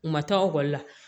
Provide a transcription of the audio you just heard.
U ma taa ekɔli la